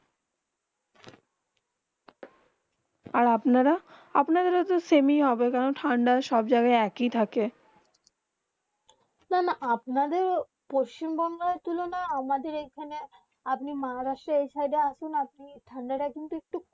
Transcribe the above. আর আপনারা আপনারা সামেহি হবে কেন ঠান্ডা সব জায়গা এক হয় থাকে না না আপনার পশ্চিম বংগো তুলনা আমাদের এখানে আপনি মহারাষ্ট্র এই সাইড আসুন আপনি ঠান্ডা তা একটু